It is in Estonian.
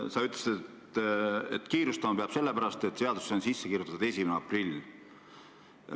Sa ütlesid, et kiirustama peab sellepärast, et seadusesse on sisse kirjutatud 1. aprill.